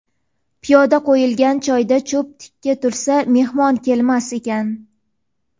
Piyolada quyilgan choyda cho‘p tikka tursa mehmon kelmas ekan.